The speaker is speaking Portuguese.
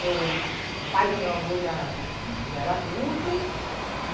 Meu pai do meu avô já enfim já era adulto. E